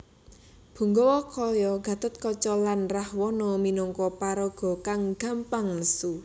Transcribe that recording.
Punggawa kaya Gatotkaca lan Rahwana minangka paraga kang gampang nesu